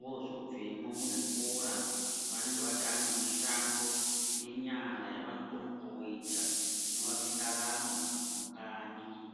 Voozobvemwo muzvikora vanenga vatoonemishando yenyara yavanokone kooita inovape ndaramo mukanyi.